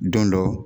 Don dɔ